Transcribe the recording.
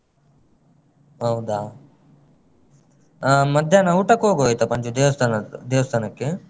ಹೌದಾ? ಆ ಮಧ್ಯಾಹ್ನ ಊಟಕ್ಕೊಗುವ ಆಯ್ತಾ ಪಂಚು ದೇವಸ್ಥಾನದ್ದು ದೇವಸ್ಥಾನಕ್ಕೆ.